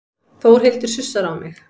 Þórhildur sussar á mig.